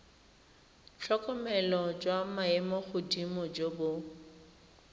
tlhokomelo jwa maemogodimo jo bo